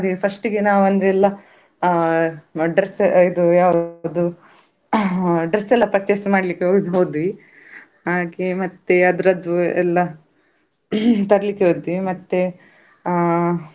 ಬಗೆ ಬಗೆಯ ಪ್ರಾಣಿಗಳು, ಪಕ್ಷಿಗಳು, ಹಾಗೆ ತುಂಬ ರೀತಿಯ ಪ್ರಾಣಿ, ಪಕ್ಷಿ, ಜಲಚರಗಳು ತುಂಬ ಇತ್ತು, ಆಗ ನಾವು ಒಳಗೆ ಹೋಗ್ತಾ ಇದ್ದ ಹಾಗೆವೆ ನಮ್ಮ ಈ ಭಾರತ ದೇಶದಲ್ಲಿ, ಇರುವ ಪ್ರಾಣಿಗಳಿಗಿಂತಲೂ ಬೇರೆ ಆ.